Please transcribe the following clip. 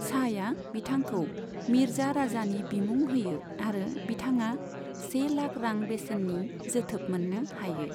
शाहया बिथांखौ मिर्जा राजानि बिमुं होयो आरो बिथाङा से लाख रां बेसेननि जोथोब मोननो हायो।